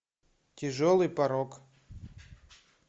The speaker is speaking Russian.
тяжелый порок